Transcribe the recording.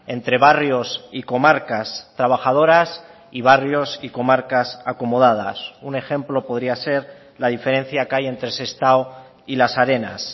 entre barrios y comarcas trabajadoras y barrios y comarcas acomodadas un ejemplo podría ser la diferencia que hay entre sestao y las arenas